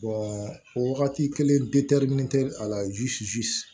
wagati kelen a la